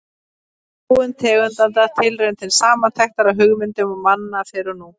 Þróun tegundanna: Tilraun til samantektar á hugmyndum manna fyrr og nú.